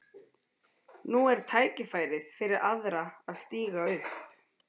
Nú er tækifærið fyrir aðra að stíga upp.